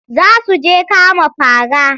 Za su je kama fara.